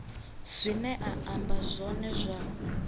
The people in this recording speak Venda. zwine a amba zwone zwa